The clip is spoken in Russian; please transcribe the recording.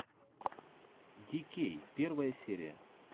ди кей первая серия